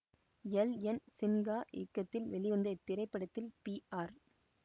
L N Sinha இயக்கத்தில் வெளிவந்த இத்திரைப்படத்தில் பி ஆர்